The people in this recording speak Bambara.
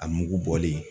A mugu bɔlen